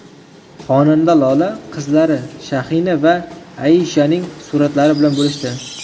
Xonanda Lola qizlari Shahina va Aishaning suratlari bilan bo‘lishdi.